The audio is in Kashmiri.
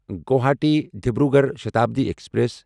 گواہاٹی ڈبروگڑھ شتابڈی ایکسپریس